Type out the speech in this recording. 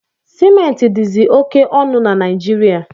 Sementi dizi oke onu na Najirịa